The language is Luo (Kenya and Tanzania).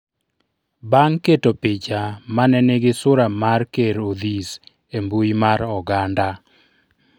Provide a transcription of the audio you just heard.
bang' keto picha mane nigi sura mar ker Odhis embui mar oganda